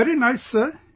Very nice sir